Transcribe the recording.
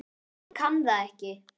Hún kann það ekki.